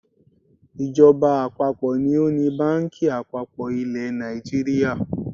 Ìjọba àpapọ̀ ni ó ni báǹkì àpapọ̀ ilẹ̀ Nàìjíríà.